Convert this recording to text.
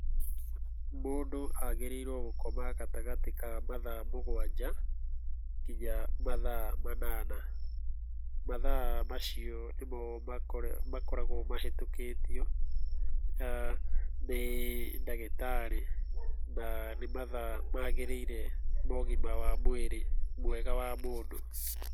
Mũndũ agĩrĩirwo gũkoma gatagatĩ ka mathaa mũgwanja nginya mathaa manana. Mathaa macio nĩmo makoragwo mahĩtũkĩtio nĩ ndagĩtarĩ, na nĩ mathaa magĩrĩire ma ũgima wa mwĩrĩ mwega wa mũndũ.